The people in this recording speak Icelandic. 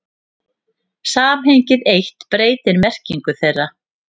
Samhengið eitt breytir merkingu þeirra.